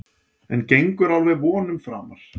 En gengur alveg vonum framar.